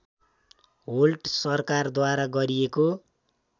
Holt सरकारद्वारा गरिएको